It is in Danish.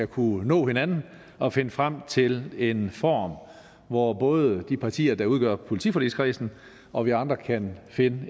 kunne nå hinanden og finde frem til en form hvor både de partier der udgør politiforligskredsen og vi andre kan finde